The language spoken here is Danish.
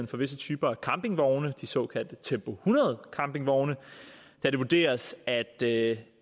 for visse typer af campingvogne de såkaldte tempo hundrede campingvogne da det vurderes at det